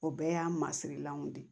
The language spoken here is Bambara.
O bɛɛ y'a masirilanw de ye